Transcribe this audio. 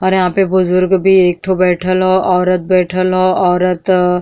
और यहां पे बुजुर्ग भी एक ठो बैठल ह। औरत बैठल ह। औरत --